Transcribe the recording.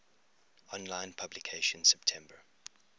online publication september